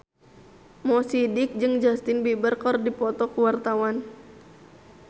Mo Sidik jeung Justin Beiber keur dipoto ku wartawan